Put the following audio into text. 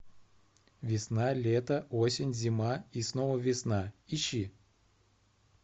весна лето осень зима и снова весна ищи